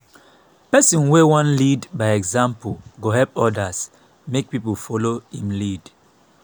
pesin wey wan lead by example go help odas make pipo folo im lead.